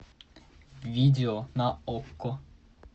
видео на окко